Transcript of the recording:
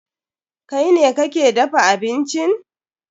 Kai ne kake dafa bincin?